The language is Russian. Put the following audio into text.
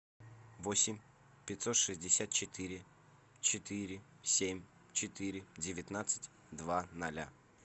восемь пятьсот шестьдесят четыре четыре семь четыре девятнадцать два ноля